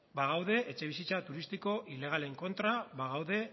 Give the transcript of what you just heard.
bagaude etxebizitza turistiko ilegalen kontra bagaude